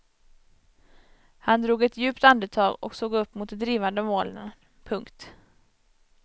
Han drog ett djupt andetag och såg upp mot de drivande molnen. punkt